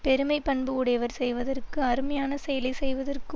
பெருமை பண்பு உடையவர் செய்வதற்கு அருமையானச் செயலை செய்வதற்க்கு